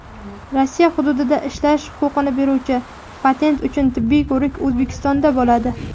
Rossiya hududida ishlash huquqini beruvchi patent uchun tibbiy ko‘rik O‘zbekistonda bo‘ladi.